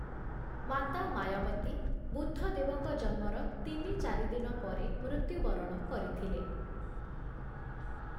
ମାତା ମାୟାବତୀ ବୁଦ୍ଧଦେବଙ୍କ ଜନ୍ମର ତିନି - ଚାରି ଦିନ ପରେ ମୃତ୍ୟୁବରଣ କରିଥିଲେ ।